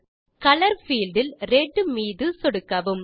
colour field இல் red மீது சொடுக்கலாம்